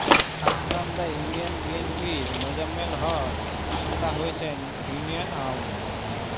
Khagkanda union বিএনপির মোজাম্মেল হক তোতা হয়েছেন union Awami